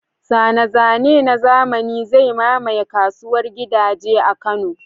Zane-zane na zamani zai mamaye kasuwar gidaje a Kano.